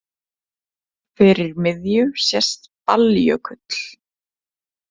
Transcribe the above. Fyrir miðju sést Balljökull.